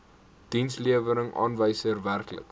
dienslewerings aanwysers werklike